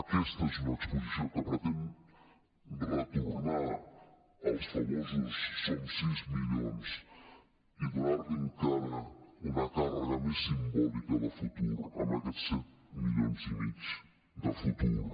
aquesta és una exposició que pretén retornar als famosos som sis milions i donar encara una càrrega més simbòlica de futur a aquests set milions i mig de futur